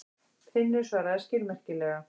Finnur svaraði skilmerkilega.